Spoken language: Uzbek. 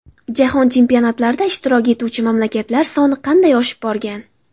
Jahon chempionatlarida ishtirok etuvchi mamlakatlar soni qanday oshib borgan?.